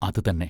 അത് തന്നെ.